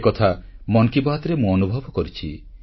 ସେକଥା ମନ୍ କି ବାତ୍ରେ ମୁଁ ଅନୁଭବ କରିଛି